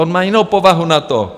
On má jinou povahu na to.